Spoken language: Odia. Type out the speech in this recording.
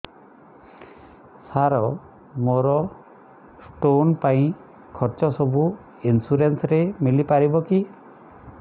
ସାର ମୋର ସ୍ଟୋନ ପାଇଁ ଖର୍ଚ୍ଚ ସବୁ ଇନ୍ସୁରେନ୍ସ ରେ ମିଳି ପାରିବ କି